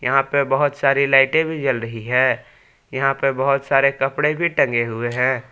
यहाँ पे बहोत सारी लाइटें भी जल रही है यहाँ पे बहोत सारे कपड़े भी टंगे हुए हैं।